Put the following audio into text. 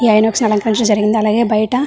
line వచ్చి అలకరించడం జరిగిది అలాగే బయట --